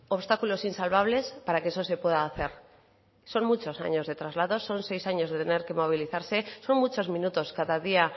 obstáculos insalvables para que eso se pueda hacer son muchos años de traslados son seis años de tener que movilizarse son muchos minutos cada día